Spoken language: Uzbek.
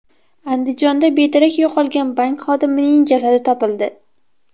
Andijonda bedarak yo‘qolgan bank xodimining jasadi topildi.